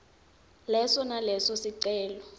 leso naleso sicelo